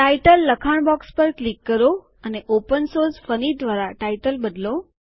title લખાણ box પર click કરો અને ઓપનસોર્સ ફની દ્વારા ટાઇટલ બદલો